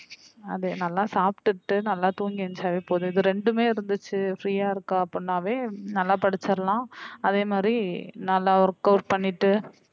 அது நல்லா சாப்டுட்டு நல்லா தூங்கி எழுந்திரிச்சாலே போதும் இந்த ரெண்டுமே இருந்துச்சு free யா இருக்க அப்படினாவே நல்லா படிச்சிடலாம் அதே மாதிரி நல்லா work out பண்ணிட்டு